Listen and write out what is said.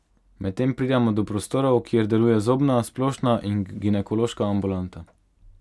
Medtem pridemo do prostorov, kjer deluje zobna, splošna in ginekološka ambulanta.